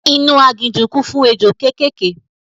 Inú agijù kún fún ejò kékèké